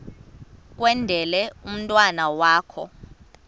kwendele umntwana wakho